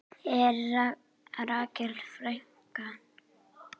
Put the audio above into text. En Rakel frænka?